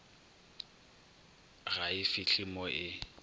ga e fihle mo e